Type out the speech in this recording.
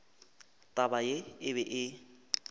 taba ye e be e